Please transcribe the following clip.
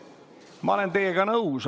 Ma olen teiega nõus.